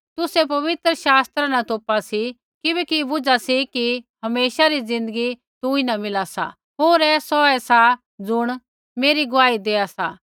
तुसै पवित्र शास्त्रा न तोपा सी किबैकि बुझा सी कि हमेशा री ज़िन्दगी तुंईन मिला सा होर ऐ सौऐ सा ज़ुण मेरी गुआही देआ सा